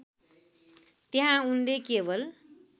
त्यहाँ उनले केवल